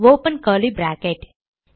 open curly brackets